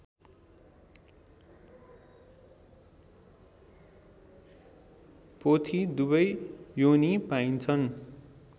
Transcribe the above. पोथी दुवै योनी पाइन्छन्